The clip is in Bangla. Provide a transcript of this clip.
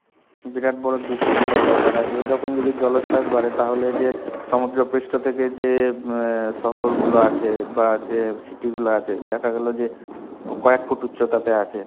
বিরাট বড় দুশ্চিন্তার ব্যাপার. আর এরকম যদি জলচ্ছাস বাড়ে তাহলে যে, সমুদ্রপৃষ্ঠ থেকে যে শহরগুলো আছে, বা যে city গুলো আছে, দেখাগেলো যে কয়েকফুট উছ্তাতে আছে.